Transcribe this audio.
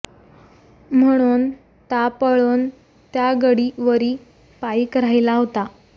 ह्मणोन ता पळोन त्या गडी वरि पाईक राहिला होता